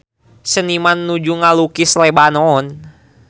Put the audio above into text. Seniman nuju ngalukis Lebanon